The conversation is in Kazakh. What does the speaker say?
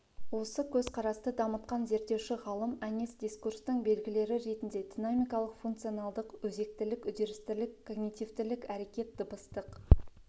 осы көзқарасты дамытқан зерттеуші ғалым әнес дискурстың белгілері ретінде динамикалық функционалдық өзектілік үрдістілік когнитивтілік әрекет дыбыстық